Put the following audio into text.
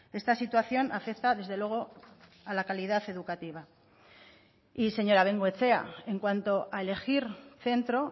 esta situación afecta desde luego a la calidad educativa y señora bengoechea en cuanto a elegir centro